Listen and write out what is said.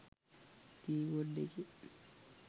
කී board එකේ